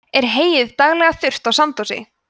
er heyið daglega þurrt á sandósi